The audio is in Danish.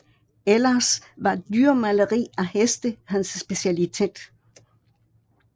Ellers var dyremaleri af heste hans specialitet